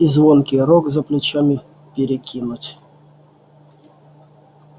и звонкий рог за плечами перекинуть